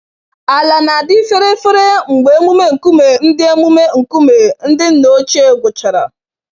Ala na-adị fere-fere mgbe emume nkume ndị emume nkume ndị nna ochie gwụchara.